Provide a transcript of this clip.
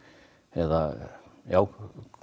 eða